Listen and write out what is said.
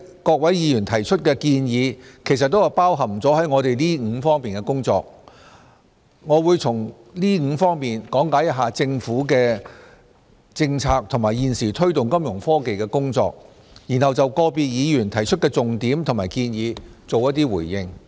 各位議員提出的建議都包含在我們這5方面的工作當中。我會先從這5方面講解一下政府的政策及現時推動金融科技的工作，然後就個別議員提出的重點和建議作出回應。